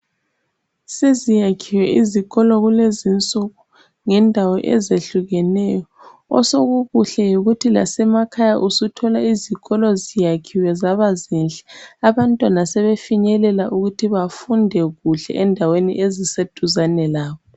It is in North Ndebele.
Seziyakhiwe izikolo kulezinsuku ngendawo ezehlukeneyo .Osokukuhle yikuthi lasemakhaya usuthola izikolo ziyakhiwe zaba zinhle .Abantwana sebefinyelela ukuthi bafunde kuhle endaweni ezise duzane labo.